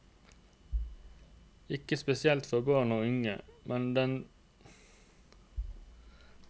Ikke spesielt for barn og unge, men noen deltar med sine foreldre eller alene.